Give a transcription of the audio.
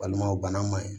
Walima o bana ma ɲi